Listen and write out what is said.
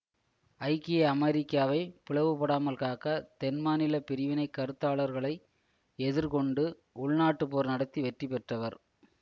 ஐக்கிய அமெரிக்காவை பிளவுபடாமல் காக்க தென் மாநில பிரிவினை கருத்தாளர்களை எதிர் கொண்டு உள்நாட்டுப் போர் நடத்தி வெற்றி பெற்றவர்